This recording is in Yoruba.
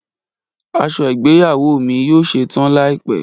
Aṣọ igbeyawo mi yoo ṣetan laipẹ.